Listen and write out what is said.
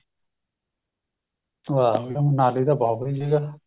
ਵਾਂਹ ਮਨਾਲੀ ਤਾ ਬਹੁਤ ਵਧੀਆ ਜਗ੍ਹਾ